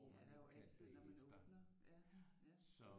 Det er der jo altid når man åbner